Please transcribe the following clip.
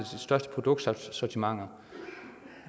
største produktsortimenter